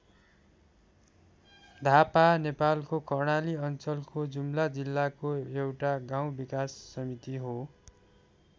धापा नेपालको कर्णाली अञ्चलको जुम्ला जिल्लाको एउटा गाउँ विकास समिति हो।